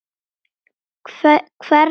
Hverra manna er hún?